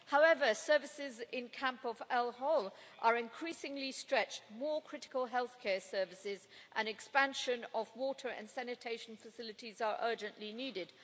However, services in the camp of al-Hol are increasingly stretched. More critical healthcare services and expansion of water and sanitation facilities are urgently needed.